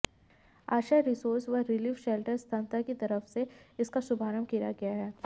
आश्रय रिसोर्स व relief shelter संस्था की तरफ से इसका शुभारंभ किया गया है